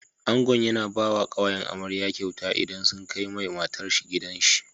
Ango yAna bawa kawayen amarya kyauta idan sun kai mai matar shi gidan shi